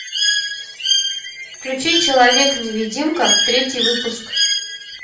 включи человек невидимка третий выпуск